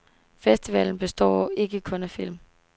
Festivalen består ikke kun af film.